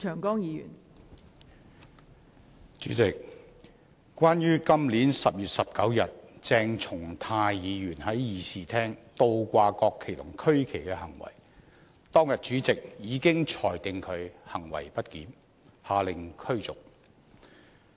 代理主席，關於今年10月19日鄭松泰議員在議事廳倒掛國旗和區旗的行為，當天主席已裁定他行為不檢，下令驅逐。